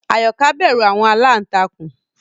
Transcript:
Ayoka bẹru àwọn àlàntakùn